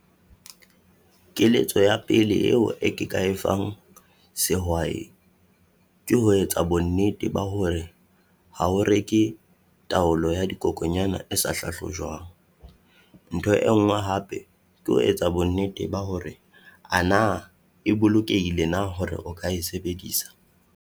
Keletso ya pele eo ke ka e fang sehwai, ke ho etsa bonnete ba hore ha o reke taolo ya di dikokonyana e sa hlahlojwang. Ntho e nngwe hape ke ho etsa bonnete ba hore ana e bolokehile na hore o ka e sebedisa.